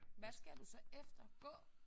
Hvad skal du så efter gå